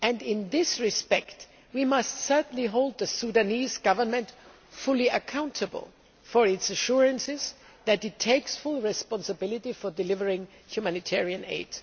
In this respect, we must certainly hold the Sudanese Government fully accountable for its assurances that it takes full responsibility for delivering humanitarian aid.